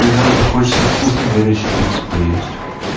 и нам захочется вкусной горячей пиццы поесть